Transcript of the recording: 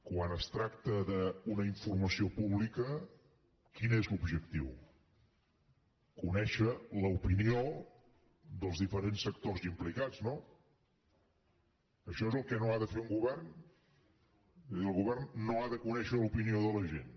quan es tracta d’una informació pública quin és l’objectiu conèixer l’opinió dels diferents sectors implicats no això és el que no ha de fer un govern és a dir el govern no ha de conèixer l’opinió de la gent